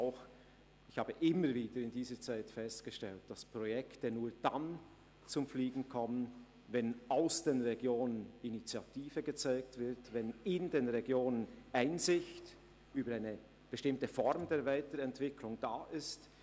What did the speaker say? Ich habe in dieser Zeit immer wieder festgestellt, dass Projekte nur dann «zum Fliegen» kommen, wenn in den Regionen Initiative gezeigt wird und Einsicht bezüglich einer bestimmten Form der Weiterentwicklung besteht.